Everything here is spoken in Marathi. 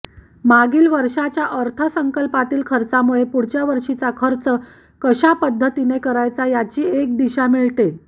मागील वर्षाच्या अर्थसंकल्पातील खर्चामुळे पुढच्या वर्षीचा खर्च कशा पद्धतीने करायचा याची एक दिशा मिळते